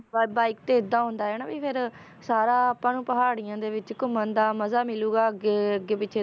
ਬ~ Bike ਤੇ ਏਦਾਂ ਹੁੰਦਾ ਹੈ ਨਾ ਵੀ ਫਿਰ ਸਾਰਾ ਆਪਾਂ ਨੂੰ ਪਹਾੜੀਆਂ ਦੇ ਵਿੱਚ ਘੁੰਮਣ ਦਾ ਮਜ਼ਾ ਮਿਲੇਗਾ ਅੱਗੇ ਅੱਗੇ ਪਿੱਛੇ,